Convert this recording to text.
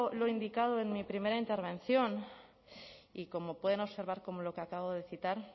lo indicado en mi primera intervención y como pueden observar como lo que acabo de citar